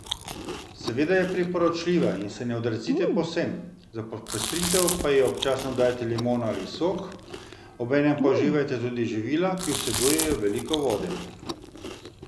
Seveda je priporočljiva in se ji ne odrecite povsem, za popestritev pa ji občasno dodajte limono ali sok, obenem pa uživajte tudi živila, ki vsebujejo veliko vode.